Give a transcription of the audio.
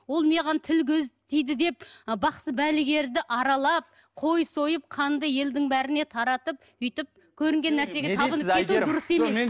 ол маған тіл көз тиді деп ы бақсы балгерді аралап қой сойып қанды елдің бәріне таратып өйтіп көрінген нәрсеге табынып кету дұрыс емес